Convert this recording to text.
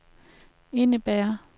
indebærer